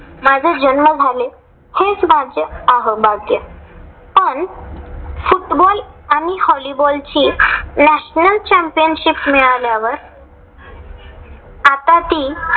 माझा जन्म झाले. हेच माझे आहोभाग्य, पण football आणि volleyball ची national championship मिळाल्यावर आता ती